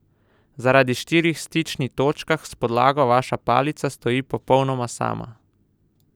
Zaradi štirih stični točkah s podlago vaša palica stoji popolnoma sama.